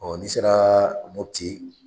Ɔ n'i sera Mopiti